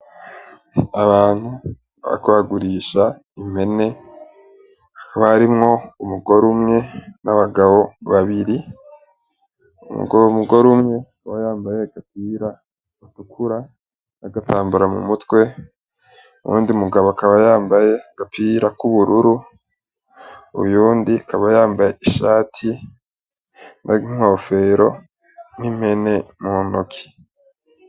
Abantu bariko bagurisha impene hakaba harimwo umugore umwe , n'abagabo babiri , uwo mugore umwe yari yambaye agapira gatukura n'agatambara mu mutwe , uwundi mugabo akaba yambaye agapira k'ubururu , uyundi akaba yambaye ishati , n'inkofero, n'impene mu ntoki.